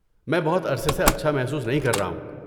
میں بہت عرصے سے اچھا محسوس نہیں کر رہا ہوں۔